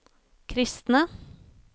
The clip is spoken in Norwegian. kristne